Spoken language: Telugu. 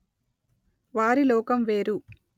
వారి లోకం వేరు